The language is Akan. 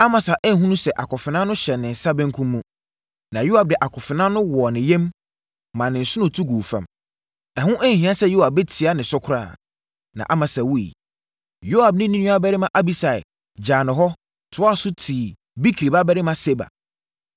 Amasa anhunu sɛ akofena no hyɛ ne nsa benkum mu. Na Yoab de akofena no wɔɔ ne yam, maa ne nsono tu guu fam. Ɛho anhia sɛ Yoab bɛtia ne so koraa, na Amasa wuiɛ. Yoab ne ne nuabarima Abisai gyaa no hɔ, toaa so tii Bikri babarima Seba.